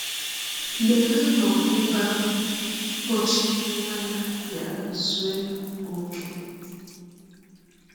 “ Mgbe ha nọ ebe ahụ, ụbọchị imụ nwa ya biara zụọ ọke.